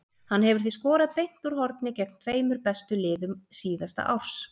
Hann hefur því skorað beint úr horni gegn tveimur bestu liðum síðasta árs.